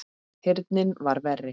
Heyrnin var verri.